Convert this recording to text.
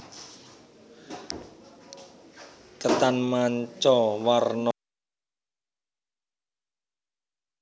Ketan manca warna saha ketan kolak apem